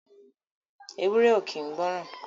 Ewúré ò kín gbọ̀ran.